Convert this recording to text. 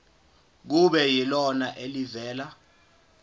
kube yilona elivela